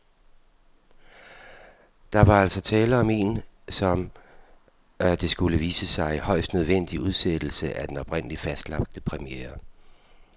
Der var altså tale om en, som det skulle vise sig, højst nødvendig udsættelse af den oprindeligt fastlagte premiere.